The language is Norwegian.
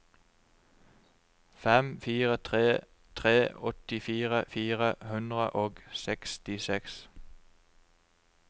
fem fire tre tre åttifire fire hundre og sekstiseks